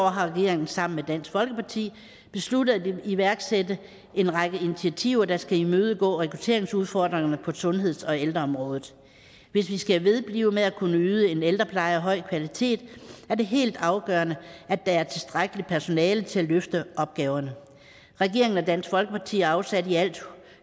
har regeringen sammen med dansk folkeparti besluttet at iværksætte en række initiativer der skal imødegå rekrutteringsudfordringerne på sundheds og ældreområdet hvis vi skal vedblive med at kunne yde en ældrepleje af høj kvalitet er det helt afgørende at der er tilstrækkeligt personale til at løfte opgaverne regeringen og dansk folkeparti afsatte i alt